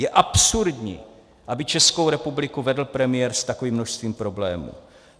Je absurdní, aby Českou republiku vedl premiér s takovým množstvím problémů.